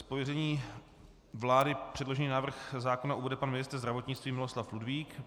Z pověření vlády předložený návrh zákona uvede pan ministr zdravotnictví Miloslav Ludvík.